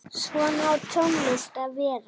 Svona á tónlist að vera.